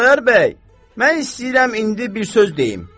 Xudayar bəy, mən istəyirəm indi bir söz deyim.